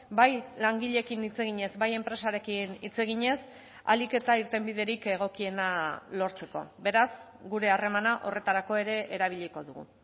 bai langileekin hitz eginez bai enpresarekin hitz eginez ahalik eta irtenbiderik egokiena lortzeko beraz gure harremana horretarako ere erabiliko dugu